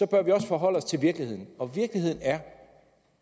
bør vi også forholde os til virkeligheden og virkeligheden er